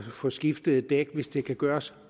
få skiftet et dæk hvis det kan gøres